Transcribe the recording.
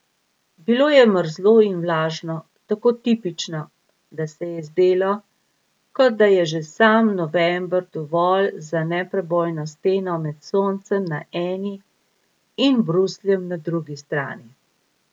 Bilo je mrzlo in vlažno, tako tipično, da se je zdelo, kot da je že sam november dovolj za neprebojno steno med soncem na eni in Brusljem na drugi strani.